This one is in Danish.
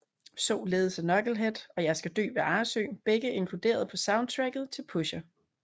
Således er Knucklehead og Jeg skal Dø ved Arresø begge inkluderet på soundtracket til Pusher